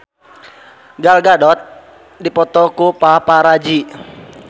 Gal Gadot dipoto ku paparazi